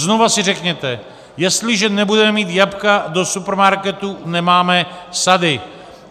Znova si řekněte - jestliže nebudeme mít jablka do supermarketu, nemáme sady.